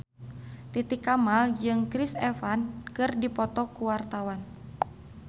Titi Kamal jeung Chris Evans keur dipoto ku wartawan